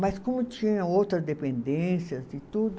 Mas como tinha outra dependências e tudo,